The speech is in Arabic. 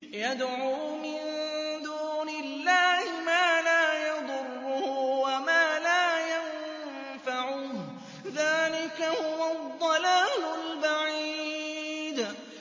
يَدْعُو مِن دُونِ اللَّهِ مَا لَا يَضُرُّهُ وَمَا لَا يَنفَعُهُ ۚ ذَٰلِكَ هُوَ الضَّلَالُ الْبَعِيدُ